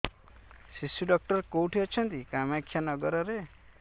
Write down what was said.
ଶିଶୁ ଡକ୍ଟର କୋଉଠି ଅଛନ୍ତି କାମାକ୍ଷାନଗରରେ